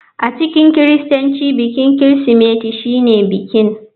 A cikin kiristanci bikin Kirsimeti shine bikin.